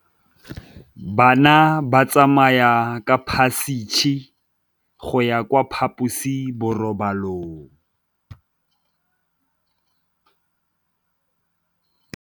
Bana ba tsamaya ka phašitshe go ya kwa phaposiborobalong.